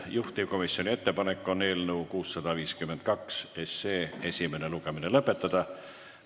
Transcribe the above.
Juhtivkomisjoni ettepanek on eelnõu 652 esimene lugemine lõpetada.